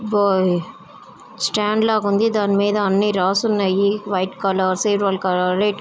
Stand లాగా ఉంది దాని మీద అన్ని రాసి ఉన్నాయి. White colour maroon colour red colour --